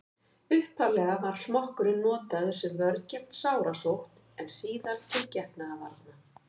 upphaflega var smokkurinn notaður sem vörn gegn sárasótt en síðar til getnaðarvarna